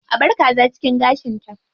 A bar kaza cikin gashinta.